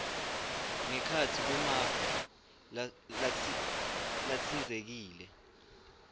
ngekhatsi kwemave latsintsekile